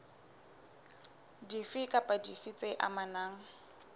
dife kapa dife tse amanang